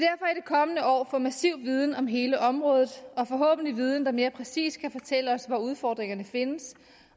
kommende år få massiv viden om hele området og forhåbentlig en viden der mere præcist kan fortælle os hvor udfordringerne findes